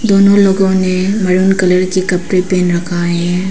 दोनों लोगों ने मैरून कलर के कपड़े पहन रखा है।